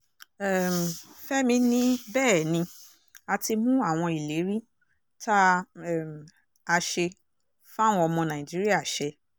um fẹ́mi ní bẹ́ẹ̀ ni a ti mú àwọn ìlérí tá um a ṣe fáwọn ọmọ nàìjíríà ṣẹ